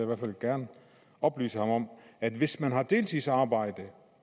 hvert fald gerne oplyse ham om at hvis man har deltidsarbejde